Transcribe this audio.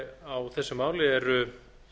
á þessu máli eru